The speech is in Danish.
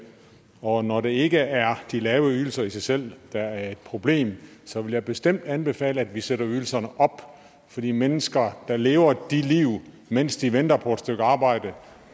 og når det ikke er de lave ydelser i sig selv der er et problem så vil jeg bestemt anbefale at vi sætter ydelserne op for de mennesker der lever de liv mens de venter på et stykke arbejde